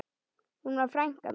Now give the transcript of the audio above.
Hún var frænka mín.